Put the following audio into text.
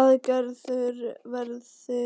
Að gerður verði